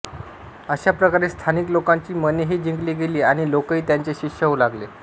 अशा प्रकारे स्थानिक लोकांची मनेही जिंकली गेली आणि लोकही त्यांचे शिष्य होऊ लागले